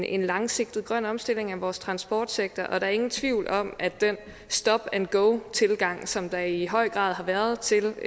en langsigtet grøn omstilling af vores transportsektor og der er ingen tvivl om at den stop and go tilgang som der i høj grad har været til